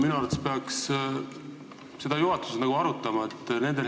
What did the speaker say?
Minu arvates peaks seda juhatuses arutama.